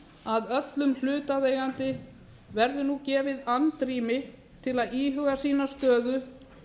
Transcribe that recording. að öllum hlutaðeigandi verði nú gefið andrými til að íhuga sína stöðu